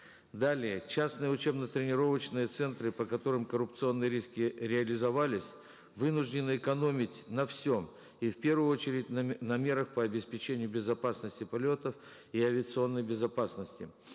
далее частные учебно тренировочные центры по которым коррупционные риски реализовались вынуждены экономить на всем и в первую очередь на на мерах по обеспечению безопасности полетов и авиационной безопасности